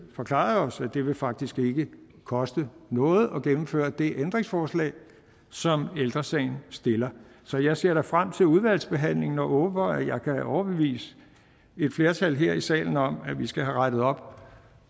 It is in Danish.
forklaret os at det det faktisk ikke vil koste noget at gennemføre det ændringsforslag som ældre sagen stiller så jeg ser frem til udvalgsbehandlingen og håber at jeg kan overbevise et flertal her i salen om at vi skal have rettet op